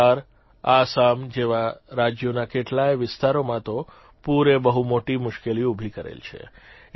બિહાર આસામ જેવા રાજયોના કેટલાય વિસ્તારોમાં તો પૂરે બહુ મોટી મુશ્કેલી ઉભી કરેલ છે